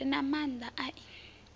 re na maanda a i